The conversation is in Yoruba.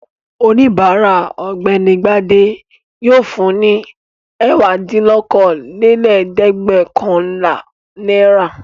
Oníbàárà Ọ̀gbẹ́ni Gbadé yóò fun ní ẹ̀wádínlókòólẹ́ẹ̀dẹ́gbẹ̀ọ̀kànlá náírà.